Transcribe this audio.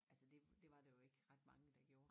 Altså det det var der jo ikke ret mange der gjorde